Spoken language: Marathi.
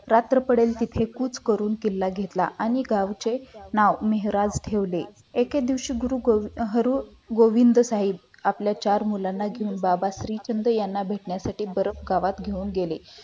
रात्र पर्यंत तिथे खुश करून तो किल्ला घेतला आणि गावचे नाव मेहरार ठेवले एके दिवशी हरू गुरु गोविंद साहेब आपल्या चार मुलांना यांना घेऊन बाबाजी चंद्र यांना भेटायसाठी बर्फ गावात घेऊन गेले